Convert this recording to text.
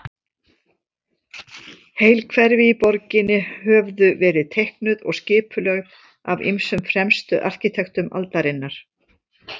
Heil hverfi í borginni höfðu verið teiknuð og skipulögð af ýmsum fremstu arkitektum aldarinnar.